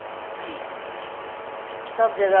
ਸਭ ਜਗ੍ਹਾ